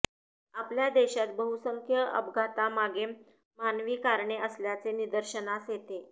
आपल्या देशात बहुसंख्य अपघातांमागे मानवी कारणे असल्याचे निदर्शनास येते